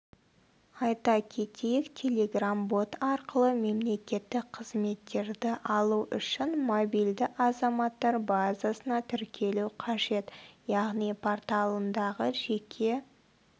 айта кетейік телеграм-бот арқылы мемлекеттік қызметтерді алу үшін мобильді азаматтар базасына тіркелу қажет яғни порталындағы жеке